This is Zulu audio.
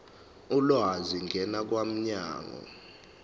ulwazi ngena kwabomnyango